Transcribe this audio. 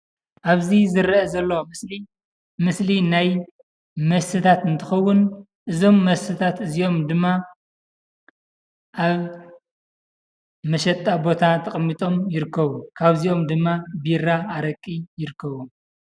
ኣብዚ ዝረአ ዘሎ ምስሊ፡ ምስሊ ናይ መስተታት እንትኸውን እዞም መስተታት እዚኦም ድማ ኣብ መሸጣ ቦታ ተቐሚጦም ይርከቡ፡፡ ካብዚኦም ድማ ቢራ፣ ኣረቂ ይርከብዎም፡፡